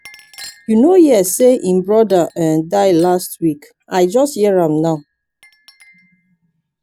you no hear say him brother um die last week i just hear am now.